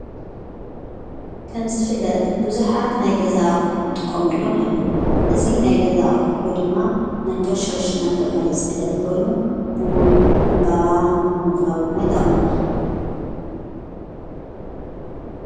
ከምዝፍለጥ ብዙኃት ናይ ገዛ ኦሑኑ ጥቆምሎም ኣለዉ እዙ ናይ ገዛ ቝሑ ድማ መንከሽከሽ እናተብሃለ ዝፍለጥ ኮይኑ ብውን ዕምባባ ንምቕላዊ ድማ ኣይጣቕመና።